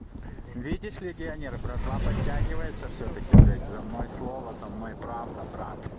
видишь легионеры братва подтягивается всё-таки блять за мной слово за мной правда брат